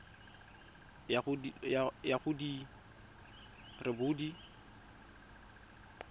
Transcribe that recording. ya go di le robedi